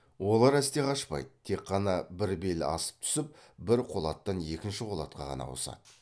олар әсте қашпайды тек қана бір бел асып түсіп бір қолаттан екінші қолатқа ғана ауысады